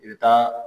I bɛ taa